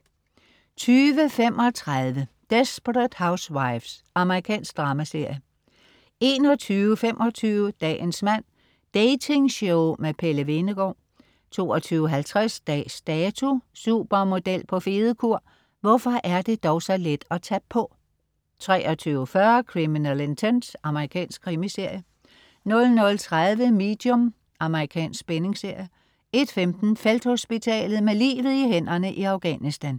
20.35 Desperate Housewives. Amerikansk dramaserie 21.25 Dagens mand. Dating-show med Pelle Hvenegaard 22.50 Dags Dato: Supermodel på fedekur, hvorfor er det dog så let at tage på! 23.40 Criminal Intent. Amerikansk krimiserie 00.30 Medium. Amerikansk spændingsserie 01.15 Felthospitalet. Med livet i hænderne i Afghanistan